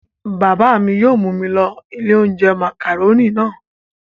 Bàbá mi yóò mú mi lọ ilé-oúnjẹ màkàrónì náà.